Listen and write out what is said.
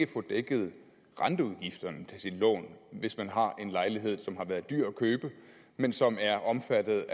ikke få dækket renteudgifterne til sit lån hvis man har en lejlighed som har været dyr at købe men som er omfattet